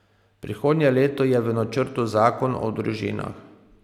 Prihodnje leto je v načrtu zakon o družinah.